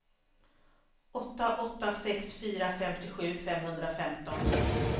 åtta åtta sex fyra femtiosju femhundrafemton